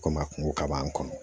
Komi a kungo ka bon an kun